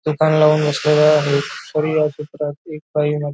दुकान लावून बसलेले आहेत तरी या चित्रात एक बाई म--